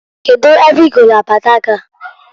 Kedu ebe igolu abada gi a?